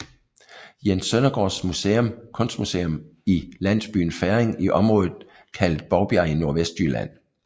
Jens Søndergaards Museum kunstmuseum i landsbyen Ferring i området kaldet Bovbjerg i Nordvestjylland